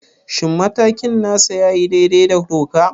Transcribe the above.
Shin matakin nasa ya yi daidai da doka?